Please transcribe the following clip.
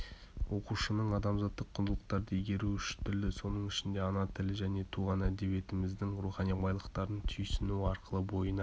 оқушының адамзаттық құндылықтарды игеруі үш тілді соның ішінде ана тілі және туған әдебиетіміздің рухани байлықтарын түйсінуі арқылы бойына